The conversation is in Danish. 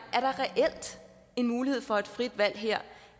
en mulighed for frit valg